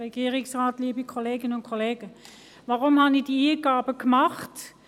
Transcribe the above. Weshalb habe ich diese Eingaben gemacht?